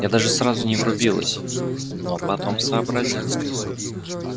я даже сразу не врубилась но потом сообразила